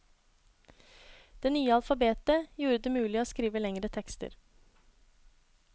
Det nye alfabetet gjorde det mulig å skrive lengre tekster.